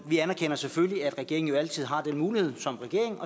vi anerkender selvfølgelig at regeringen altid har den mulighed som regering